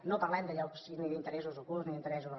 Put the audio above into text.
no parlem de llocs ni d’interessos ocults ni d’interessos